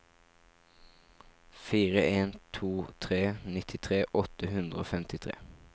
fire en to tre nittitre åtte hundre og femtitre